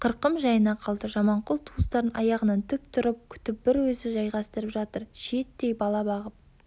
қырқым жайына қалды жаманқұл туыстарын аяғынан тік тұрып күтіп бір өзі жайғастырып жатыр шиеттей бала бағып